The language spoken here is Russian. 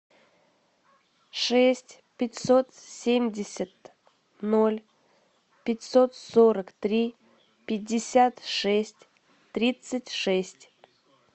шесть пятьсот семьдесят ноль пятьсот сорок три пятьдесят шесть тридцать шесть